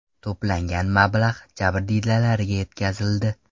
To‘plangan mablag‘ jabrdiydalarga yetkazildi.